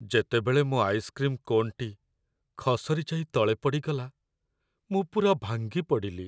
ଯେତେବେଳେ ମୋ ଆଇସ୍କ୍ରିମ୍ କୋନ୍‌ଟି ଖସରି ଯାଇ ତଳେ ପଡ଼ିଗଲା ମୁଁ ପୂରା ଭାଙ୍ଗିପଡ଼ିଲି।